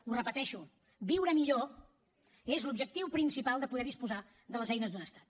ho repeteixo viure millor és l’objectiu principal de poder disposar de les eines d’un estat